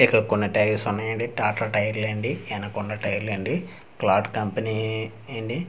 ఇక్కడ కొన్ని టైర్స్ ఉన్నాయండి టాటా టైర్ అండి ఎన్నాక ఉన్న టైర్ లండి క్లాట్ కంపనీ-ని అండి.